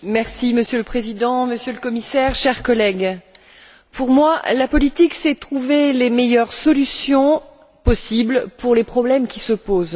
Monsieur le Président, Monsieur le Commissaire, chers collègues, pour moi, la politique c'est trouver les meilleures solutions possibles pour les problèmes qui se posent.